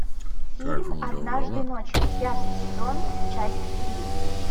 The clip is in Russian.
фильм однажды ночью пятый сезон часть три